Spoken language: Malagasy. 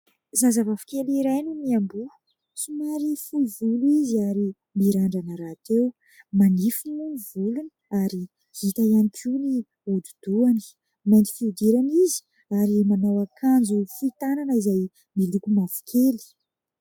Zazavavikely iray no miamboho. Somary fohy volo izy ary mirandrana rahateo. Manify moa ny volony ary hita ihany koa ny hodi-dohany ; mainty fihodirana izy ary manao akanjo fohy tanana izay miloko mavokely.